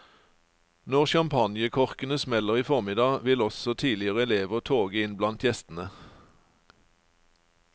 Når champagnekorkene smeller i formiddag, vil også tidligere elever toge inn blant gjestene.